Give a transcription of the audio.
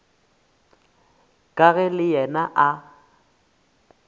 ka ge le yena a